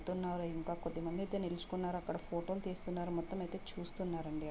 కొద్దిమంది అయితే నిలుచున్నారు. అక్కడైతే ఫోటో లు తీస్తున్నారు.అంత చూస్తున్నారండి.